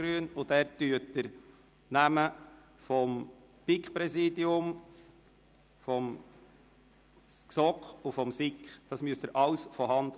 Sie müssen die Namen vom BiK-, GSoK- und SIK-Präsidium handschriftlich ausfüllen.